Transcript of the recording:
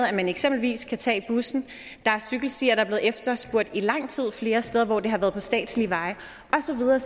at man eksempelvis kan tage bussen der er cykelstier der er blevet efterspurgt i lang tid flere steder og det har været på statslige veje og så videre